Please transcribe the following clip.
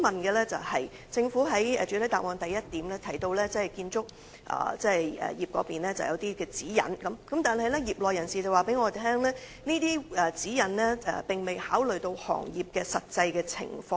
主席，政府在主體答覆第一部分提到建造業設有相關指引，但業內人士向我反映，這些指引並未考慮行業的實際情況。